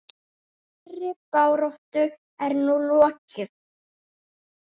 Þeirri baráttu er nú lokið.